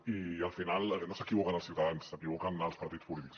i al final no s’equivoquen els ciutadans s’equivoquen els partits polítics